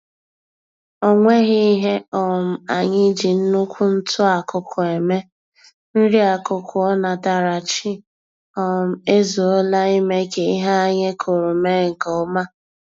O nweghi ihe um anyị ji nnukwu ntụ-akụkụ eme, nri-akụkụ onatarachi um ezuola ime k'ihe anyị kụrụ mee nkè ọma